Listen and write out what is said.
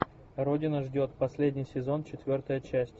родина ждет последний сезон четвертая часть